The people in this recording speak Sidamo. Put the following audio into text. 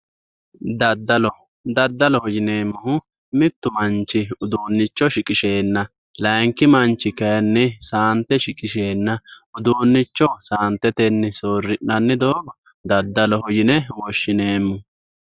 daddalo daddaloho yineemmohu mittu manchi uduunnicho shiqisheenna layiinki manchi kayiinni saante shiqisheenna uduunnicho saantetenni soorri'nanni doogo daddaloho yine woshshineemmo.